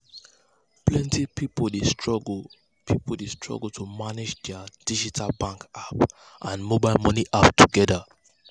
plenty people dey struggle people dey struggle to manage their digital bank app and mobile money app together.